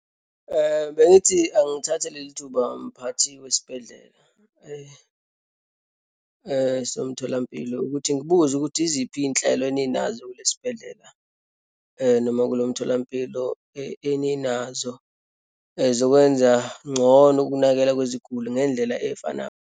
Bengithi angithathe leli thuba mphathi wesibhedlela, somtholampilo ukuthi ngibuze ukuthi yiziphi iyinhlelo eninazo kulesibhedlela, noma kulo mtholampilo eninazo zokwenza ngcono ukunakekela kweziguli ngendlela efana.